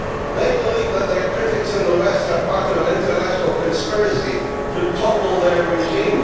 They believe that their critics in the West are part of an international conspiracy to topple their regime.